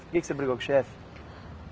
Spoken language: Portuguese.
Por que que você brigou com o chefe?